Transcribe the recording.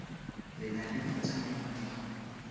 le na le vitamin d